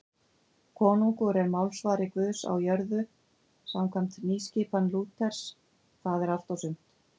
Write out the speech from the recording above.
Konungur er málsvari Guðs á jörðu samkvæmt nýskipan Lúters, það er allt og sumt.